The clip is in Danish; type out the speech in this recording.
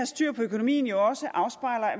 styr på økonomien jo også